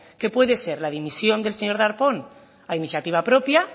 que puede ser la dimisión del señor darpón a iniciativa propia